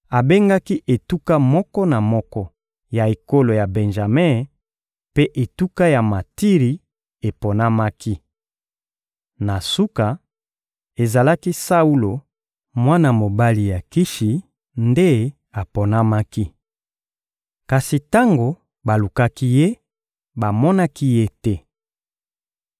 Abengaki etuka moko na moko ya ekolo ya Benjame, mpe etuka ya Matiri eponamaki. Na suka, ezalaki Saulo, mwana mobali ya Kishi, nde aponamaki. Kasi tango balukaki ye, bamonaki ye te.